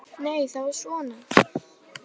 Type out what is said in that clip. Nei, það var svona!